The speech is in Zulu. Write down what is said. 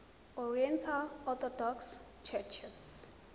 oriental orthodox churches